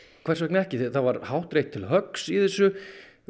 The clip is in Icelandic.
hvers vegna ekki það var hátt reitt til höggs í þessu